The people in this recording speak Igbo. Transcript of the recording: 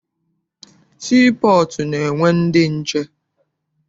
Sii pọọtụ na-enwe ndị nche.